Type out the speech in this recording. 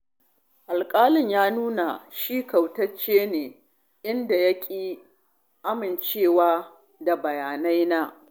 Alƙalin ya nuna shi kautacce ne, inda ya ƙi amincewa da bayanaina.